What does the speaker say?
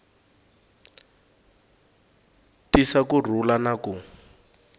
tisa ku rhula na ku